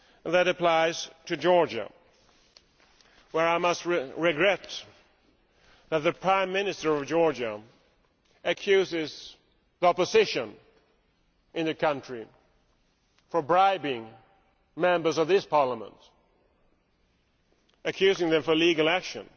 That applies to Georgia, where I regret that the Prime Minister of Georgia has accused the opposition in the country of bribing Members of this Parliament, accusing them of illegal action.